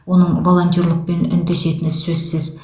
оның волонтерлықпен үндесетіні сөзсіз